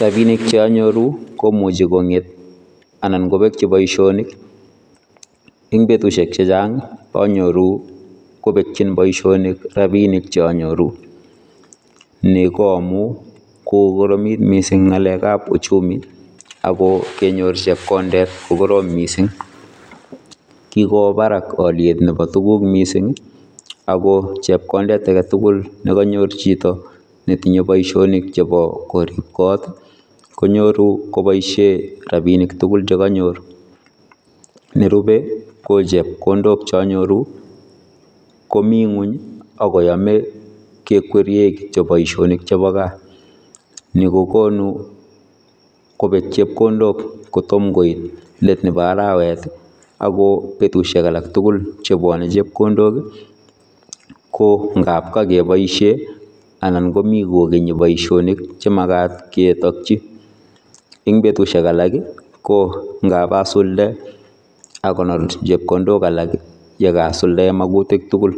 Rapinik che anyoruu ii komuchei kongeet anan kobekyii boisionik eng betusiek chechaang anyoruu kobekyiin boisionik rapinik che anyoruu ni ko amuun kokoromiit missing ngalek ab uchumii ako kenyoor chepkondeet ko korom missing kikowaaah baraak aliet nebo tuguuk missing ako chepkondeet age tugul nekanyoor chitoo Kobo boisionik nebo koriib koot konyooru kobaisheen rapinik tugul che kanyoor, nerube ko chepkondook che anyoruu ii ko Mii kweeny ako yamee kekwerien boisionik chebo gaah ni kogonuu kobiit chepkondook kotomah koit let nebo araweet ii ako betusiek alaak tugul che bwanei chepkondook ko ngaap kakebaisheen anan komii kogenii boisionik che magaat keyakyii en betusiek alaak ko ngaap adulde akonyoor chepkondook alaak ye Karan suldaen magutikk tugul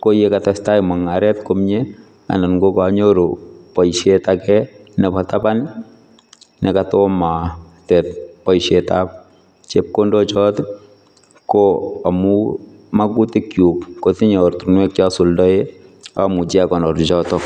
ko ye katestai mungaret komyei anan ko kaa nyoruu boisiet age nebo tabaan nekataa komatet boisiet ab chepkondook choot ko amuun magutikk kyuuk kotinyei ortinweek che asuldaen amuchei agonyoor chotoon.